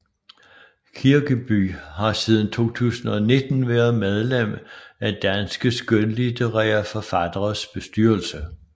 Kirkeby har siden 2019 været medlem af Danske skønlitterære Forfatteres bestyrelse